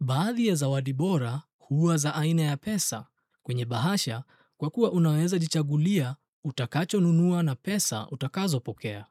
Baadhi ya zawadi bora huwa za aina ya pesa kwenye bahasha kwa kuwa unaweza jichagulia utakacho nunua na pesa utakazo pokea.